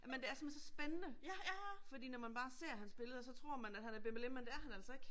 Men det er simpelthen så spændende fordi når man bare ser hans billeder så tror man, at han er bimmelim, men det er han altså ikke